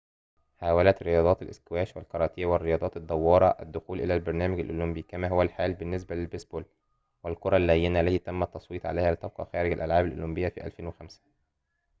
حاولت رياضات الإسكواش و"الكاراتيه والرياضات الدوارة الدخول إلى البرنامج الأولمبي كما هو الحال بالنسبة للبيسبول و"الكرة اللينة"، التي تم التصويت عليها لتبقى خارج الألعاب الأولمبية في 2005